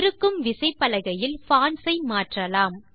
இருக்கும் விசைப்பலகையில் பான்ட்ஸ் ஐ மாற்றலாம்